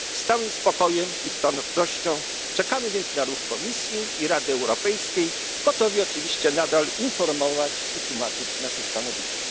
skończył. Z całym spokojem i stanowczością czekamy więc na ruch Komisji i Rady Europejskiej, gotowi oczywiście nadal informować i tłumaczyć nasze stanowisko.